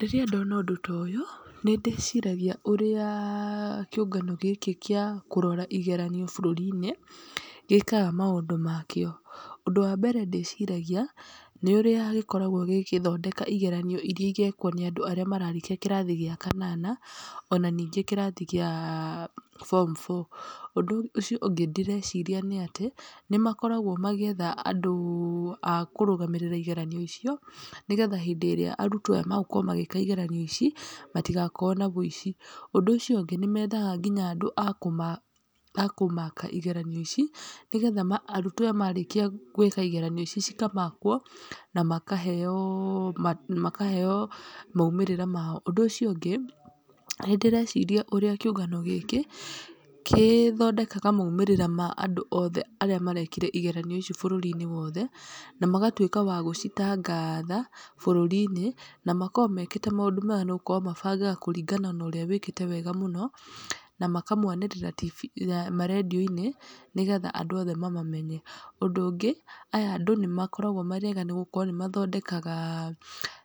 Rĩrĩa ndona ũndũ ta ũyũ, nĩ ndĩciragia ũrĩa kĩũngano gĩkĩ gĩa kũrora igeranio bũrũri-inĩ gĩkaga maũndũ makĩo. Ũndũ wambere ndĩciragia, nĩ ũrĩa gĩkoragwo gĩgĩthondeka igeranio iria igekwo nĩ andũ arĩa mararĩkia kĩrathi gĩa kanana, ona ningĩ kĩrathi gĩa form four. Ũndũ ũcio ũngĩ ndĩreciria nĩ atĩ, nĩ makoragwo magĩetha andũ akũrũgamĩrĩra igaranio icio, nĩgetha hĩndĩ ĩrĩa arutwo aya magũkorwo magĩka igeranio ici, matigakorwo na ũici. Ũndũ ũcio ũngĩ nĩ mendaga nginya andũ a kũma a kũmaaka igeranio ici, nĩgetha arutwo aya marĩkia gwĩka igeranio ici, ikamakwo, na makaheo na makaheo maumĩrĩra mao. Ũndũ ũcio ũngĩ nĩ ndĩreciria ũrĩa kĩũngano gĩkĩ, kĩthondekaga maumĩrĩra ma andũ othe arĩa marekire igeranio icio bũrũri-inĩ wothe, na magatwĩka wa gũcitangatha bũrũri-inĩ, na makoragwo mekĩte maũndũ mega nĩgũkorwo mabangaga kũringana na ũrĩa wĩkĩte wega mũno, na makamwanĩrĩra marendiũ-inĩ, nĩgetha andũ othe mamamenye. Ũndũ ũngĩ, aya andũ nĩ makoragwo marĩ ega nĩgũkorwo nĩ mathondekaga